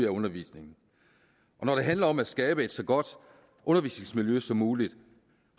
undervisningen og når det handler om at skabe et så godt undervisningsmiljø som muligt